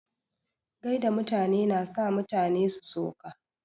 Gaida mutane na sa mutane su so ka.